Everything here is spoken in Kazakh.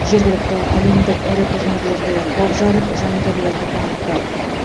жергілікті әлемдік ірі турнирлерде топ жарып жанкүйерлерді қуантты